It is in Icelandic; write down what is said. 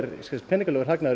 peningalegur hagnaður